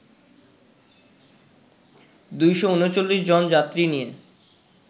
২৩৯ জন যাত্রী নিয়ে